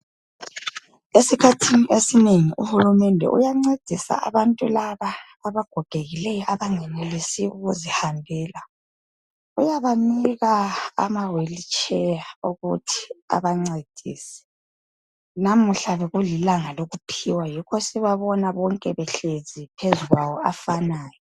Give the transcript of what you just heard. Esikhathini esinengi uhulumende uyancedisa abantu laba abagogekileyo abangenelisi ukuzihambela .Uyabanika ama"wheel chair" ukuthi abancedise .Namuhla bekulilanga lokuphiwa yikho sibabona bonke behlezi phezu kwafanayo.